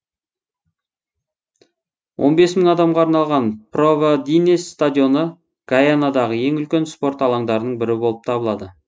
он бес мың адамға арналған провиденс стадионы гайанадағы ең үлкен спорт алаңдарының бірі болып табылады